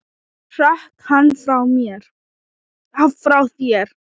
Hrökk hann frá þér?